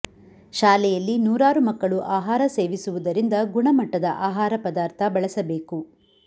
ಶಾಲೆಯಲ್ಲಿ ನೂರಾರು ಮಕ್ಕಳು ಆಹಾರ ಸೇವಿಸುವುದರಿಂದ ಗುಣಮಟ್ಟದ ಆಹಾರ ಪದಾರ್ಥ ಬಳಸಬೇಕು